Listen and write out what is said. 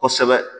Kosɛbɛ